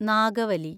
Nagavalli